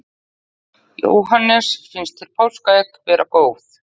Jóhannes: Finnst þér páskaegg vera góð?